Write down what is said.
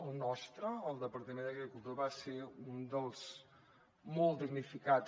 el nostre el departament d’agricultura va ser un dels molts damnificats